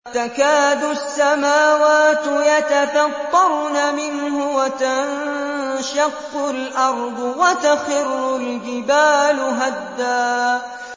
تَكَادُ السَّمَاوَاتُ يَتَفَطَّرْنَ مِنْهُ وَتَنشَقُّ الْأَرْضُ وَتَخِرُّ الْجِبَالُ هَدًّا